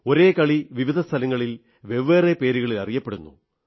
ഒരേ കളി വിവിധ സ്ഥലങ്ങളിൽ വെവ്വേറെ പേരുകളിൽ അറിയപ്പെടുന്നു